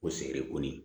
O sɛgire ko nin